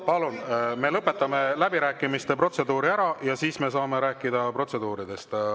Palun, me lõpetame läbirääkimiste protseduuri ära ja siis me saame rääkida protseduuridest.